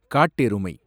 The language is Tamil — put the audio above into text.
காட்டெருமை